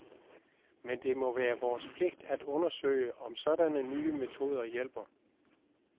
Men det må være vores pligt at undersøge, om sådanne nye metoder hjælper.